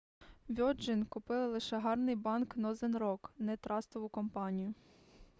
вьоджин купили лише гарний банк нозен рок не трастову компанію